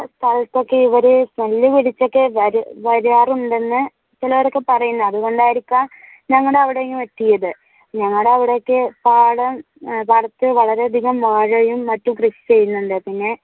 ഇവർ തല്ല് പിടിച്ചൊക്കെ വാരാറുണ്ടെന്നു ചിലവരൊക്കെ പറയുന്നു അതുകൊണ്ടായിരിക്കാം ഞങ്ങളുടെ അവിടെയും എത്തിയത് ഞങ്ങളുടെ അവിടെ ഒക്കെ പാടം പാടത്തിൽ വളരെ അധികം വാഴയും മറ്റും കൃഷി ചെയ്യുന്നുണ്ട്. പിന്നെ